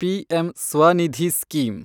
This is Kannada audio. PM Svanidhi scheme